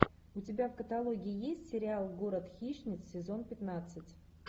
у тебя в каталоге есть сериал город хищниц сезон пятнадцать